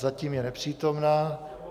Zatím je nepřítomna.